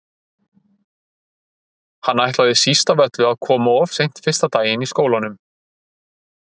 Hann ætlaði síst af öllu að koma of seint fyrsta daginn í skólanum.